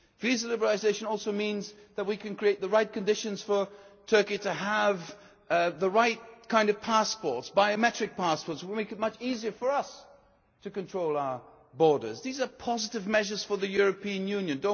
borders. Visa liberalisation also means that we can create the right conditions for Turkey to have the right kind of passports biometric passports. It would make it much easier for us to control our borders. These are positive measures for the European